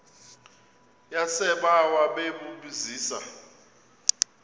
yasebawa bebu zisa